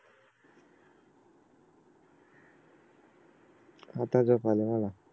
आता झोप आले मला